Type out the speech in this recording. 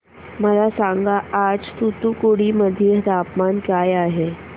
मला सांगा आज तूतुकुडी मध्ये तापमान काय आहे